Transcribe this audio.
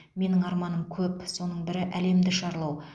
менің арманым көп соның бірі әлемді шарлау